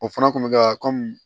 O fana kun bɛ ka